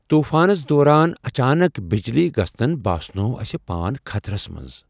طوفانس دوران اچانک بجلی گژھنن باسنوو اسہِ پان خطرس منز ۔